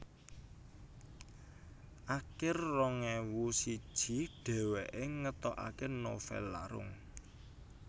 Akir rong ewu siji dhèwèké ngetokaké novèl Larung